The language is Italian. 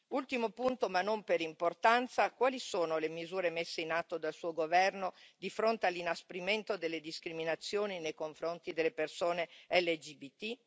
Ultimo punto, ma non per importanza, quali sono le misure messe in atto dal Suo governo di fronte all'inasprimento delle discriminazioni nei confronti delle persone LGBT?